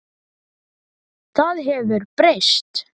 Það hefur breyst.